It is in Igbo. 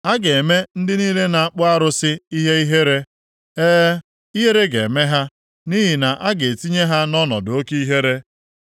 A ga-eme ndị niile na-akpụ arụsị ihe ihere, e, ihere ga-eme ha nʼihi na a ga-etinye ha nʼọnọdụ oke ihere.